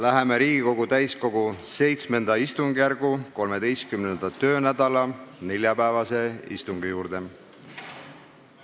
Läheme Riigikogu täiskogu VII istungjärgu 13. töönädala neljapäevase istungi juurde.